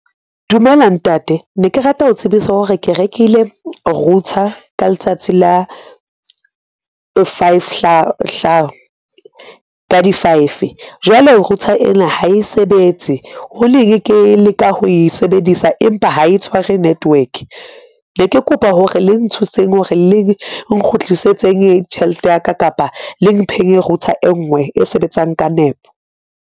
Dumela ntate, ne ke rata ho tsebisa hore ke rekile router ka letsatsi la five ka di five jwale router ena ha e sebetse ho neng ke leka ho e sebedisa empa ha e tshware network. Ne ke kopa hore le nthuseng hore le nkgutlisetseng tjhelete ya ka kapa le mpheng router e nngwe e sebetsang ka nepo.